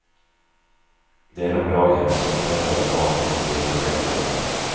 Det är de daghem som flertalet barn finns i under veckodagarna.